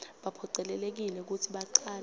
baphocelelekile kutsi bacale